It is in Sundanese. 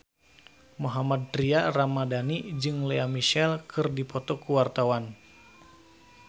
Mohammad Tria Ramadhani jeung Lea Michele keur dipoto ku wartawan